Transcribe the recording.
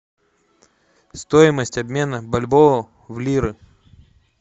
стоимость обмена бальбоа в лиры